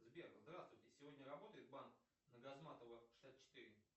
сбер здравствуйте сегодня работает банк на газматова шестьдесят четыре